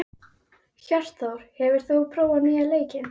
Hjörtþór, hefur þú prófað nýja leikinn?